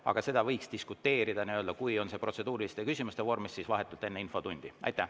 Aga selle üle võiks diskuteerida protseduuriliste küsimuste vormis vahetult enne infotundi.